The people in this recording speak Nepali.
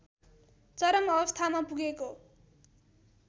चरम अवस्थामा पुगेको